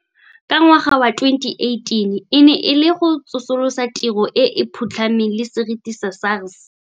Ka ngwaga wa 2018 e ne e le go tsosolosa tiro e e phutlhameng le seriti sa SARS.